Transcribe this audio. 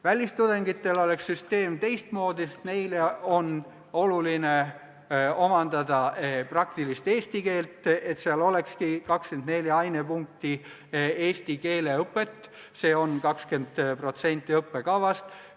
Välistudengite puhul oleks süsteem teistsugune, sest nende jaoks on oluline omandada praktiline eesti keel – see, et nad saaksidki 24 ainepunkti eest eesti keele õpet, see on 20% õppekavast.